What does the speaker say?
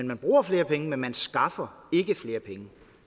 man bruger flere penge men man skaffer ikke flere penge